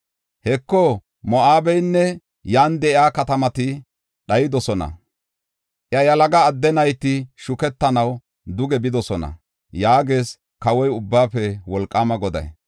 Heko, Moo7abeynne yan de7iya katamati dhayidosona. Iya yalaga adde nayti shukettanaw duge bidosona” yaagees, kawoy, Ubbaafe Wolqaama Goday.